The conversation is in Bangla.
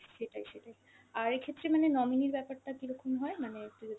সেটাই, সেটাই, আর এক্ষেত্রে মানে nominee র ব্যাপার টা কীরকম হয় মানে একটু